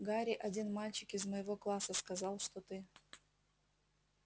гарри один мальчик из моего класса сказал что ты